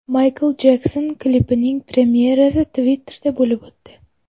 Maykl Jekson klipining premyerasi Twitter’da bo‘lib o‘tdi.